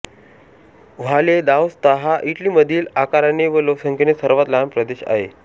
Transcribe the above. Valle d'Aosta हा इटलीमधील आकाराने व लोकसंख्येने सर्वात लहान प्रदेश आहे